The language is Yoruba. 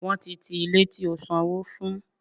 Wọ́n ti ti Ilé tí ó sanwó fún.